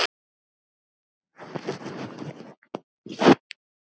Það hefur ekki orðið.